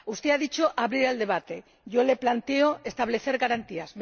Usted ha dicho abrir el debate, yo le planteo establecer garantías.